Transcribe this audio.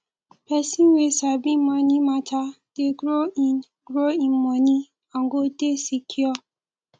pesin wey sabi moni mata dey grow in grow in moni and go dey secure